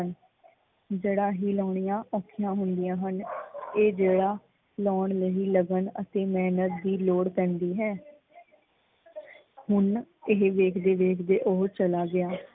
ਜੜਾਂ ਹੀ ਲਾਉਣੀਆਂ ਔਖੀਆ ਹੁੰਦੀਆ ਹਨ । ਇਹ ਜੜ੍ਹਾਂ ਲਾਉਣ ਲਈ ਲਗਨ ਅਤੇ ਮਿਹਨਤ ਦੀ ਲੋੜ ਪੈਂਦੀ ਹੈ। ਹੁਣ ਇਹ ਵੇਖਦੇ ਵੇਖਦੇ ਓਹ ਚਲਾ ਗਿਆ।